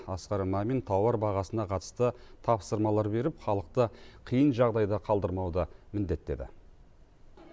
асқар мамин тауар бағасына қатысты тапсырмалар беріп халықты қиын жағдайда қалдырмауды міндеттеді